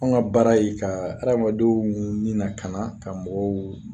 Anw ka baara ye ka ha adamadenw ni lakana ka mɔgɔw